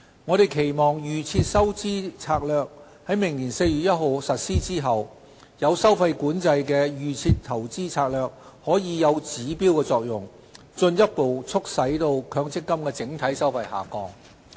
我們期望"預設投資策略"在明年4月1日實施後，有收費管制的"預設投資策略"可以有指標作用，進一步促使強積金整體收費下降。